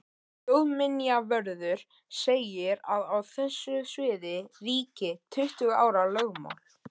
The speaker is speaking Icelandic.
Þjóðminjavörður segir að á þessu sviði ríki tuttugu ára lögmál.